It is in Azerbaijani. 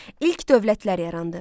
İlk dövlətlər yarandı.